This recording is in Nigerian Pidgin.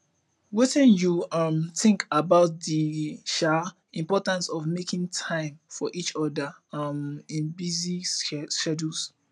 wetin you um think about di um importance of making time for each oda um in busy schedules